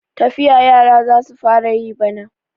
Tafiya yara za su fara yi bana.